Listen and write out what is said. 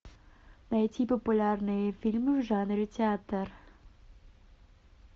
найти популярные фильмы в жанре театр